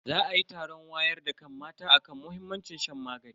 Za ayi taron wayar da kan mata akan muhimmancin shan magani.